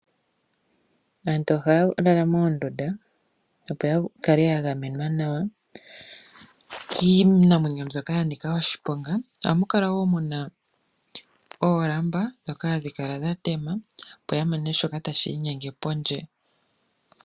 Aantu ohaa lala moondunda opo ya kale ya gamenwa nawa kiinamwenyo mbyoka ya nika oshiponga, aamu kala wo muna oolamba ndhoka hadhi kala dha tema opo ya mone shoka tashi i nyenge pondje.